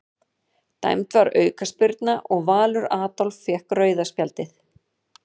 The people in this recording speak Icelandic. Dæmd var aukaspyrna og Valur Adolf fékk rauða spjaldið.